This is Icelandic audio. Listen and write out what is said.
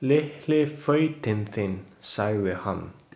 Litli fautinn þinn, segir hann.